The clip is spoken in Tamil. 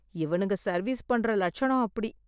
இவனுங்க சர்வீஸ் பண்ணுற லட்சணம் அப்படி!